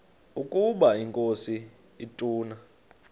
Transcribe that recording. ukaba inkosi ituna